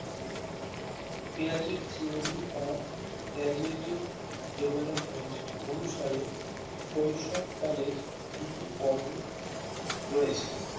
Theory of casuative development অনুসারে শৈশবকালের দুটি পর্ব রয়েছে